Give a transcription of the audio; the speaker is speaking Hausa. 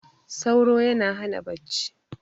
sauro yana Hana bacci